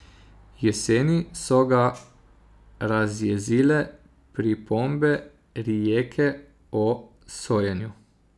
Jeseni so ga razjezile pripombe Rijeke o sojenju.